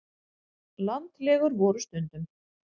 Landlegur voru stundum.